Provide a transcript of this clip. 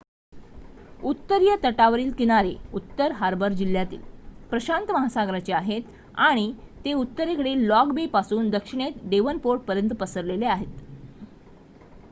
उत्तरीय तटावरील किनारे उत्तर हार्बर जिल्ह्यातील प्रशांत महासागराचे आहेत आणि ते उत्तरेतील लॉंग बे पासून दक्षिणेत डेव्हनपोर्टपर्यंत पसरलेले आहेत